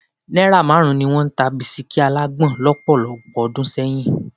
Náírà márùn-ún ni wọ́n ń ta bisikí alágbòn lọ́pọ̀lọpọ̀ ọdún sẹ́yìn